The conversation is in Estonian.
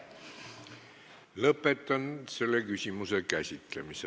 Lõpetan selle küsimuse käsitlemise.